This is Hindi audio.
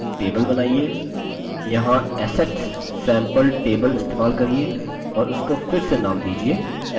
यहाँ assets sample table इस्तेमाल करिये और उसको फिर से नाम दीजिये assetscopy